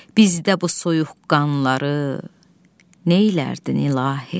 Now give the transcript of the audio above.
Bizdə bu soyuqqanları neylərdin, ilahi?